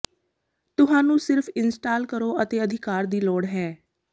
ਤੁਹਾਨੂੰ ਸਿਰਫ ਇੰਸਟਾਲ ਕਰੋ ਅਤੇ ਅਧਿਕਾਰ ਦੀ ਲੋੜ ਹੈ